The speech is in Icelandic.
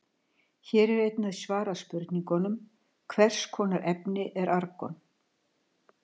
Hér er einnig svarað spurningunum: Hvers konar efni er argon?